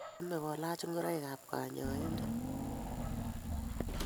Chamei kolach ngoroik ab kanyaindet